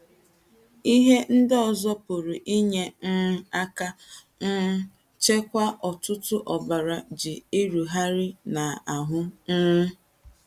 Ihe Ndị Ọzọ Pụrụ Inye um Aka um Chịkwaa Ọ̀tụ̀tụ̀ Ọbara Ji Erugharị n’Ahụ́ um